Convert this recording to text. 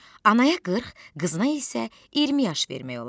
Anaya 40, qızına isə 20 yaş vermək olardı.